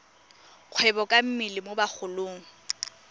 kgwebo ka mmele mo bagolong